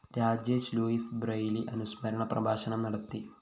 Rajesh Louis Braille അനുസ്മരണ പ്രഭാഷണം നടത്തി